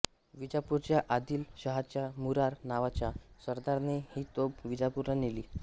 विजापूरच्या आदिल शहाच्या मुरार नावाच्या सरदाराने ही तोफ विजापूरला नेली